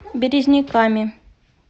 березниками